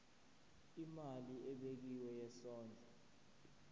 imali ebekiwe yesondlo